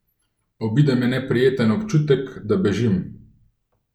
Obide me neprijeten občutek, da bežim.